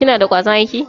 Kina da kwazon aiki?